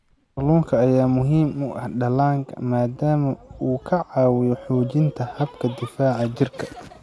Kalluunka ayaa muhiim u ah dhallaanka maadaama uu ka caawiyo xoojinta habka difaaca jirka.